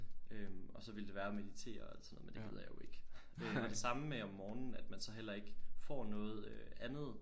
Øh og så ville det være at meditere og alt sådan noget men det gider jeg jo ikke det er det samme med om morgenen at man så heller ikke får noget øh andet